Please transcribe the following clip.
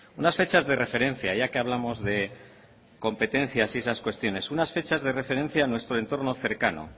unas fechas de referencia ya que hablamos de competencias y esas cuestiones unas fechas de referencia a nuestro entorno cercano